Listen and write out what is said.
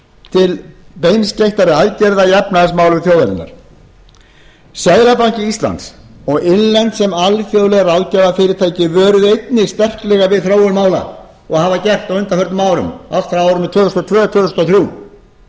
til beinskeyttra aðgerða í efnahagsmálum þjóðarinnar seðlabanki íslands og innlend sem alþjóðleg ráðgjafarfyrirtæki vöruðu einnig sterklega við þróun mála og hafa gert á undanförnum árum allt frá árinu tvö þúsund og tvö til tvö þúsund og þrjú